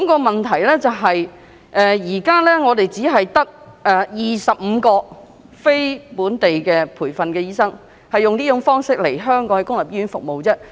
問題是現時只有25名非本地培訓醫生以這種形式來港在公立醫院服務，人數非常少。